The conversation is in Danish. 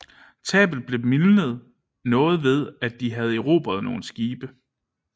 Tabet blev mildnet noget ved at de havde erobret nogle skibe